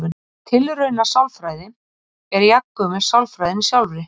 Tilraunasálfræði er jafngömul sálfræðinni sjálfri.